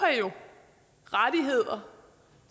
rettigheder